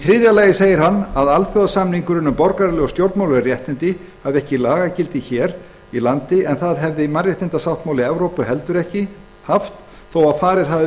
þriðja lagi að alþjóðasamningurinn um borgaraleg og stjórnmálaleg réttindi hafi ekki lagagildi hér á landi en það hafi mannréttindasáttmáli evrópu heldur ekki en engu að síður hafi